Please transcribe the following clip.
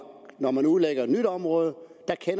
når man udlægger et nyt område